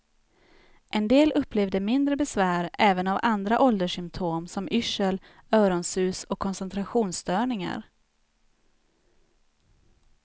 En del upplevde mindre besvär även av andra ålderssymptom som yrsel, öronsus och koncentrationsstörningar.